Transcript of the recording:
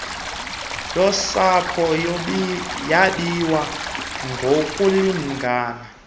yosapho yabiwa ngokulingana